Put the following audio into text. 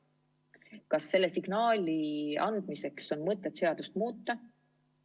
Kas selle signaali andmiseks on mõtet seadust muuta?